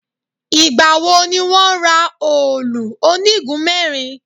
Ìgbà wo ni wọn rà òòlù onígun mẹ́rin?